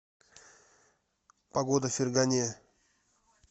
погода в фергане